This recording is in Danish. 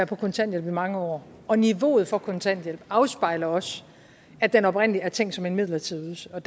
på kontanthjælp i mange år og niveauet for kontanthjælpen afspejler også at den oprindelig er tænkt som en midlertidig ydelse og